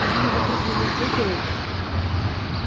одни вокруг меня прыгают